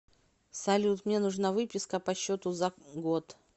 салют мне нужна выписка по счету за год